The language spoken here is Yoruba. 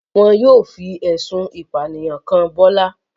Wọn yóò fi ẹ̀sùn ìpànìyàn kàn Bọ́lá.